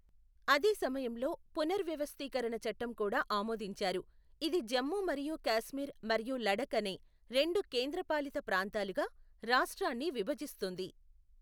అదే సమయంలో, పునర్వ్యవస్థీకరణ చట్టం కూడా ఆమోదించారు, ఇది జమ్మూ మరియు కాశ్మీర్ మరియు లడఖ్ అనే రెండు కేంద్రపాలిత ప్రాంతాలుగా రాష్ట్రాన్ని విభజిస్తుంది.